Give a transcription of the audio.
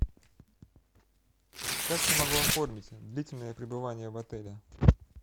как я могу оформить длительное пребывание в отеле